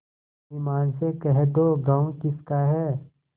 ईमान से कह दो गॉँव किसका है